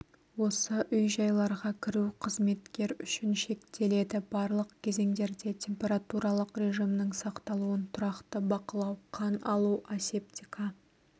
осы үй-жайларға кіру қызметкер үшін шектеледі барлық кезеңдерде температуралық режимнің сақталуын тұрақты бақылау қан алу асептика